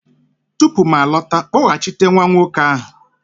tupu m alọta, kpọghachite nwa nwoke ahụ!